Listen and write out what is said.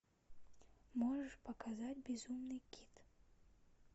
можешь показать безумный кит